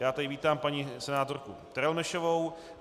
Já tady vítám paní senátorku Terelmešovou.